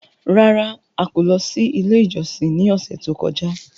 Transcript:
Rárá! A kò lọ sí ilé ìjọsìn ní ọ̀sẹ̀ tó kọjá.